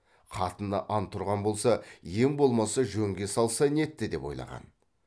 қатыны ант ұрған болса ең болмаса жөнге салса нетті деп ойлаған